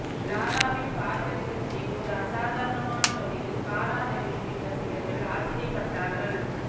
லாராவின் Burberry கட்சியில் ஒரு அசாதாரணமான வழியில் காரா டெவில்வின் ரசிகர்கள் ஆச்சரியப்பட்டார்கள்